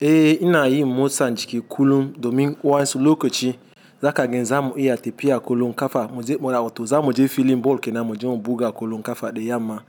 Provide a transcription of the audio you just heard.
Eh ina yi motsa jiki kullum domin wasu lokaci zakaga zamu iya tafiya kullum kafa muje muna hoto zamu je filin ball kenan muje mu buga kwallon kafa da yamma.